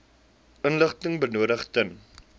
inligting benodig ten